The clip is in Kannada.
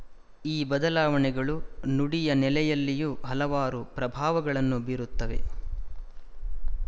ಈ ಬದಲಾವಣೆಗಳು ನುಡಿಯ ನೆಲೆಯಲ್ಲಿಯೂ ಹಲವಾರು ಪ್ರಭಾವಗಳನ್ನು ಬೀರುತ್ತವೆ